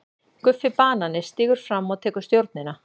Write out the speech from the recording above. GUFFI BANANI stígur fram og tekur stjórnina.